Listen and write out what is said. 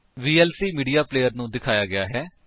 VLC media player ਨੂੰ ਦਿਖਾਇਆ ਗਿਆ ਹੈ